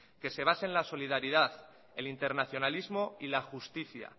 que se base en la solidaridad el internacionalismo y la justicia